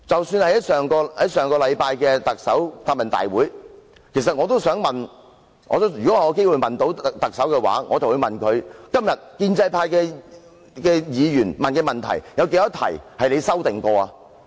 在上周的答問會上，如果我有機會提問，我也想問梁振英：今天建制派議員提出的問題當中，有多少問題被你修訂過？